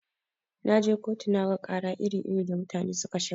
Naje kotu naga ƙara iri-iri da mutane suka shigar.